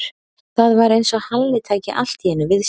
Það var eins og Halli tæki allt í einu við sér.